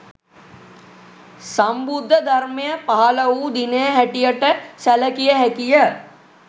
සම්බුද්ධ ධර්මය පහළ වූ දිනය හැටියට සැලකිය හැකිය